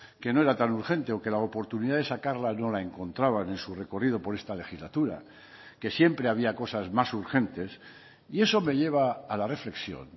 que no era tan urgente o que la oportunidad de sacarla no la encontraban en su recorrido por esta legislatura que siempre había cosas más urgentes y eso me lleva a la reflexión